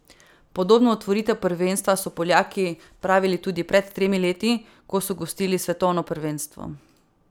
Podobno otvoritev prvenstva so Poljaki pravili tudi pred tremi leti, ko so gostili svetovno prvenstvo.